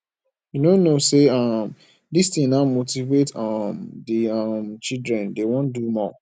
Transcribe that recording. you no know know say um dis thing now motivate um the um children dey wan do more